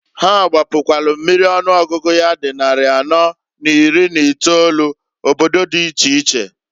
Ha gbapukwalu mmiri ọnụọgụgụ ya di nnarị anọọ na iri n'itolu, obodo di iche iche.